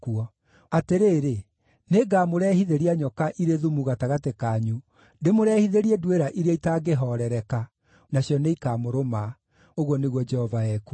“Atĩrĩrĩ, nĩngamũrehithĩria nyoka irĩ thumu gatagatĩ kanyu, ndĩmũrehithĩrie nduĩra iria itangĩhoorereka, nacio nĩikamũrũma,” ũguo nĩguo Jehova ekuuga.